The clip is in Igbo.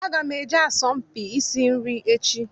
Aga m eje asọmpi isi nri echi.